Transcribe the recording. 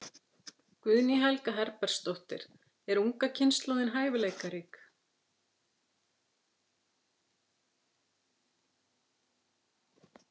Guðný Helga Herbertsdóttir: Er unga kynslóðin hæfileikarík?